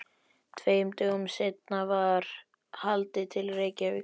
Tveim dögum seinna var haldið til Reykjavíkur.